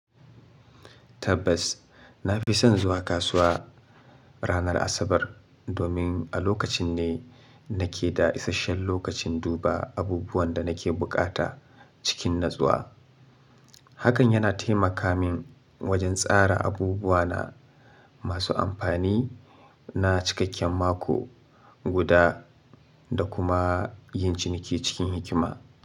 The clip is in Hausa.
Tabbas, na fi son zuwa kasuwa ranar Asabar, domin a lokacin ne nake da isasshen lokacin duba abubuwan da nake buƙata cikin natsuwa. Hakan yana taimaka min wajen tsara abubuwa na masu amfani na cikakken mako guda da kuma yin ciniki cikin hikima.